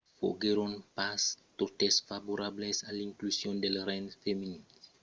foguèron pas totes favorables a l'inclusion dels rengs femenins